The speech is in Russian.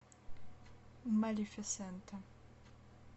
малефисента